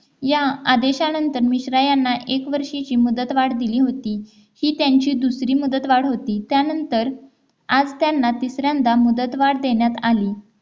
या आदेशानंतर मिश्रा यांना एक वर्षीची मुदतवाढ दिली होती ही त्यांची दुसरी मुदत वाढ होती त्यानंतर आज त्यांना तिसऱ्यांदा मुदतवाढ देण्यात आली